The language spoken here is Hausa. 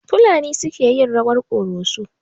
Fulani suke yin rawar ƙoroso.